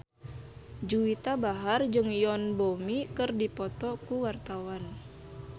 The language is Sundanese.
Juwita Bahar jeung Yoon Bomi keur dipoto ku wartawan